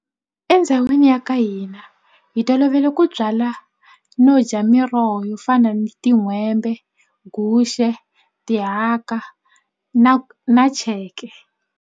Endhawini ya ka hina hi tolovele ku byala no dya miroho yo fana ni tin'hwembe, guxe, tihaka na na cheke.